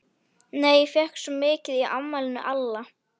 Nei, ég fékk svo mikið í afmælinu hjá Alla.